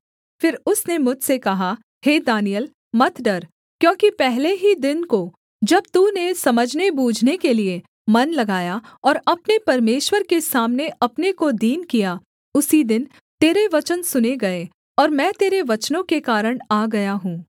फिर उसने मुझसे कहा हे दानिय्येल मत डर क्योंकि पहले ही दिन को जब तूने समझनेबूझने के लिये मन लगाया और अपने परमेश्वर के सामने अपने को दीन किया उसी दिन तेरे वचन सुने गए और मैं तेरे वचनों के कारण आ गया हूँ